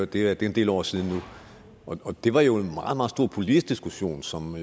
det er en del år siden nu og det var jo en meget meget stor politisk diskussion som